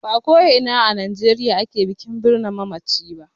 Ba ko ina a Najeriya ake bikin birne mamaci ba.